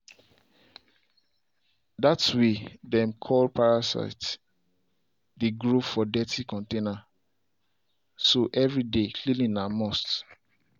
that way them dey call parasite dey grow for dirti container so every day cleaning na must.